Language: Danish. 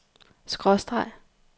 skråstreg